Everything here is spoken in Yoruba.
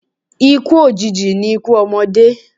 Ikú òjìji ni ikú ọmọdé.